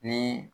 Ni